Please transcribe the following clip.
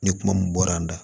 Ni kuma min bɔra an da